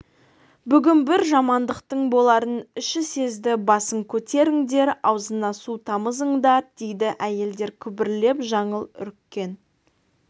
бүгін бір жамандықтың боларын іші сезді басын көтеріңдер аузына су тамызыңдар дейді әйелдер күбірлеп жаңыл үріккен